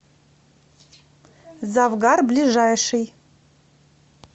завгар ближайший